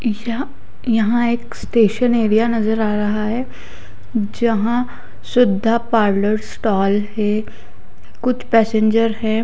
यहां एक station area नज़र आ रहा हैं जहां शुद्ध पार्लर स्टॉल है कुछ पैसेंजर है।